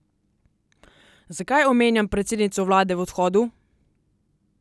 Zakaj omenjam predsednico vlade v odhodu?